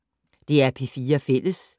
DR P4 Fælles